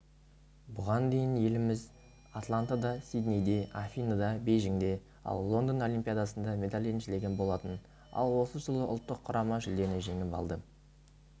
бұған дейін еліміз атлантада сиднейде афиныда бейжіңде ал лондон олимпиадасында медаль еншілеген болатын ал осы жолы ұлттық құрама жүлдені жеңіп алды